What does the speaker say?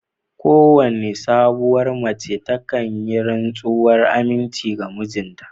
Kowane sabuwar mace takan yi rantsuwar aminci ga mijinta